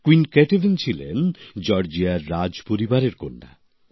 queen Ketevan ছিলেন জর্জিয়ার রাজপরিবারের কন্যা